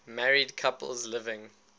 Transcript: married couples living